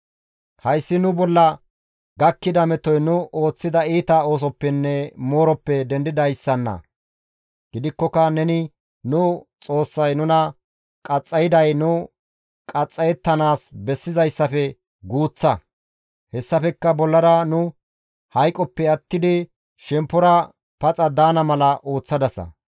«Hayssi nu bolla gakkida metoy nu ooththida iita oosoppenne mooroppe dendidayssanna; gidikkoka neni nu Xoossay nuna qaxxayday nu qaxxayettanaas bessizayssafe guuththa; hessafekka bollara nu hayqoppe attidi shemppora paxa daana mala ooththadasa.